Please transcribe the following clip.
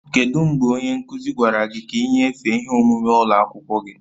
Kedu mgbe onye nkuzi gwara gị ka ị nyefee ihe omume ụlọ akwụkwọ gị?